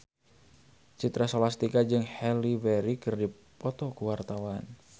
Citra Scholastika jeung Halle Berry keur dipoto ku wartawan